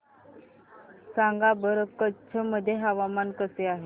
सांगा बरं कच्छ मध्ये हवामान कसे आहे